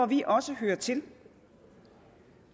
vi også hører til